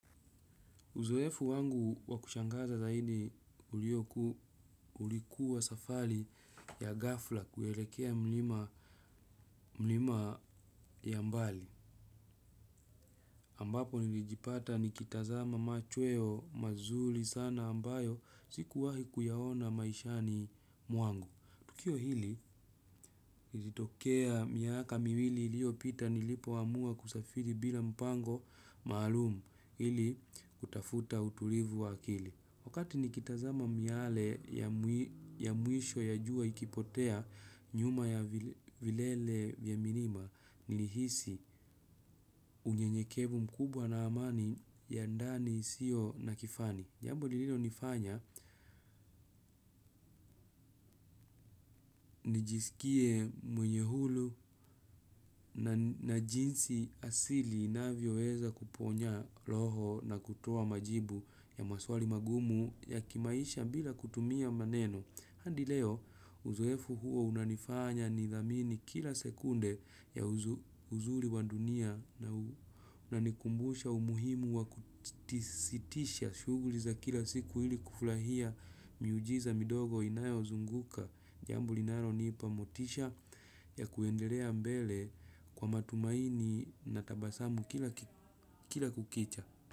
Uzoefu wangu wa kushangaza zaidi ulikuwa safari ya ghafla kuelekea mlima ya mbali. Ambapo nilijipata nikitazama machweo mazuri sana ambayo sikuwahi kuyaona maishani mwangu. Tukio hili ilitokea miaka miwili iliyo pita nilipo amua kusafiri bila mpango maalum ili kutafuta utulivu wakili. Wakati nikitazama miale ya mwisho ya jua ikipotea nyuma ya vilele vya milima, nilihisi unyenyekevu mkubwa na amani ya ndani isiyo na kifani. Jambo lililo nifanya nijiskie mwenye huru na jinsi asili inavyoweza kuponya roho na kutoa majibu ya maswali magumu ya kimaisha bila kutumia maneno. Hadi leo uzoefu huo unanifanya nidhamini kila sekunde ya uzuri wa dunia na unanikumbusha umuhimu wa kusitisha shughuli za kila siku ili kufurahia miujiza midogo inayo zunguka jambo linalo nipa motisha ya kuendelea mbele kwa matumaini na tabasamu kila kukicha.